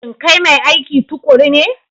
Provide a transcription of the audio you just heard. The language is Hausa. Shin kai mai aiki tuƙuru ne?